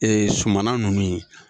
sumana ninnu ye